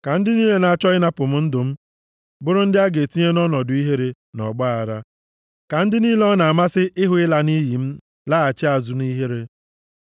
Ka ndị niile na-achọ ịnapụ m ndụ m, bụrụ ndị a ga-etinye nʼọnọdụ ihere na ọgbaaghara; ka ndị niile ọ na-amasị ịhụ ịla nʼiyi m, laghachi azụ nʼihere.